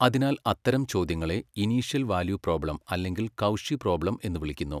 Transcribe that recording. അതിനാൽ അത്തരം ചോദ്യങ്ങളെ ഇനീഷ്യൽ വാല്യൂ പ്രോബ്ലം അല്ലെങ്കിൽ കൗഷി പ്രോബ്ലം എന്ന് വിളിക്കുന്നു.